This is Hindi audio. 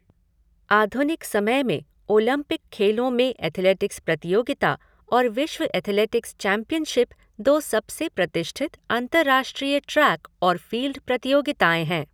आधुनिक समय में ओलंपिक खेलों में एथलेटिक्स प्रतियोगिता और विश्व एथलेटिक्स चैंपियनशिप दो सबसे प्रतिष्ठित अंतर्राष्ट्रीय ट्रैक और फ़ील्ड प्रतियोगिताएँ हैं।